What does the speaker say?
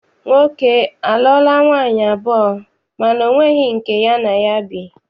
Nwoke a a lụọla nwaanyị abụọ mana ọ nweghị nke ya na ya bi.